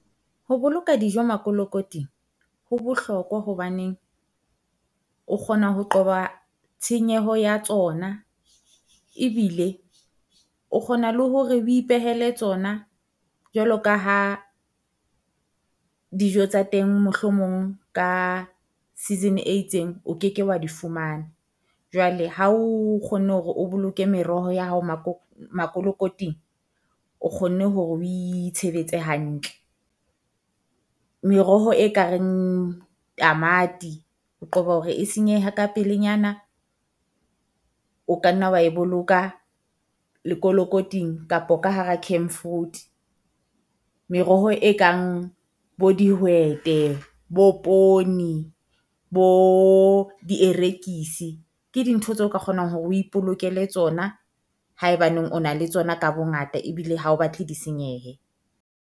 Ho boloka dijo makolokoting ho bohlokwa hobaneng, o kgona ho qoba tshenyeho ya tsona ebile o kgona le hore o ipehele tsona jwalo ka ha dijo tsa teng mohlomong ka season e itseng o keke wa di fumana. jwale. Ha o kgonne hore o boloke meroho ya hao makolokoting, o kgonne hore o itshebetsa hantle. Meroho e kareng tamati o qoba hore e senyeha ka pelenyana o ka nna wa e boloka lekolokoting kapa ka hara fruit. Meroho e kang bo dihwete, bo poone, bo dierekise. Ke dintho tseo ka kgonang hore o ipolokele tsona haebaneng o na le tsona ka bongata ebile ha o batle di senyehe.